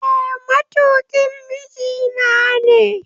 Eh matukin mijinane